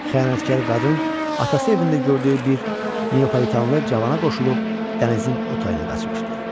Xəyanətkar qadın atası evində gördüyü bir Neapolitanlı cavana qoşulub dənizin o tayına qaçmışdı.